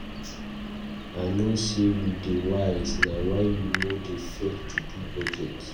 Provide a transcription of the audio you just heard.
I know sey you dey wise, na why you no dey fail to do budget.